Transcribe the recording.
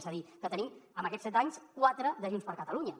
és a dir que en tenim en aquests set anys quatre de junts per catalunya